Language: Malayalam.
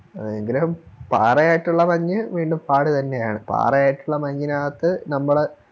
അതെ എങ്കിലും പാറയായിട്ടുള്ള മഞ്ഞ് വീണ്ടും പാട് തന്നെയാണ് പറയായിട്ടുള്ള മഞ്ഞിനകത്ത് നമ്മള്